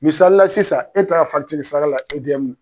Misalila sisan e taara sara la e